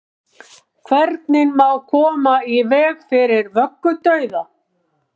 hvernig má koma í veg fyrir vöggudauða